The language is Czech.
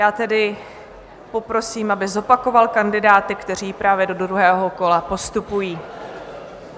Já tedy poprosím, aby zopakoval kandidáty, kteří právě do druhého kola postupují.